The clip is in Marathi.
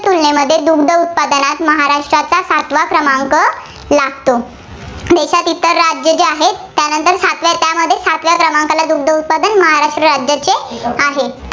तुलनेमध्ये दुग्ध उत्पादनात महाराष्ट्राचा सातवा क्रमांक लागतो. देशांत इतर राज्यं जी आहेत, त्यानंतर त्यामध्ये सातव्या क्रमांकाला दुग्द उत्पादन महाराष्ट्र राज्याचे आहे.